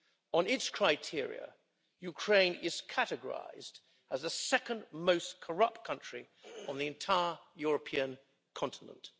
On its criteria, Ukraine is categorised as the second most corrupt country on the entire European continent.